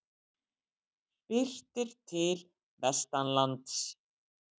Birtir til vestanlands